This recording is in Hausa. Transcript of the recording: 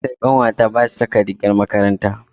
Makarantar ƙanwata ba su saka rigar makaranta.